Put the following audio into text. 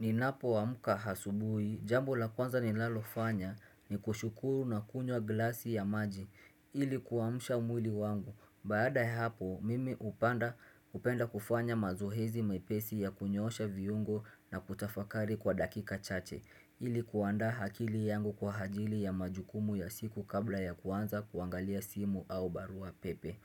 Ninapoamka asubuhi, jambo la kwanza ninalofanya ni kushukuru na kunywa glasi ya maji ili kuamsha mwili wangu. Baada ya hapo, mimi hupanda hupenda kufanya mazoezi mepesi ya kunyoosha viungo na kutafakari kwa dakika chache ili kuandaa akili yangu kwa ajili ya majukumu ya siku kabla ya kuanza kuangalia simu au barua pepe.